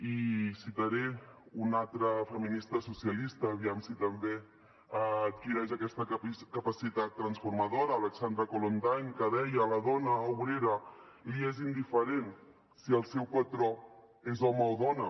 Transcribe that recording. i citaré una altra feminista socialista aviam si també adquireix aquesta capacitat transformadora aleksandra kollontaj que deia a la dona obrera li és indiferent si el seu patró és home o dona